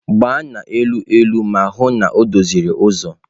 Gbaa n'elu elu ma hụ na o doziri ụzọ!.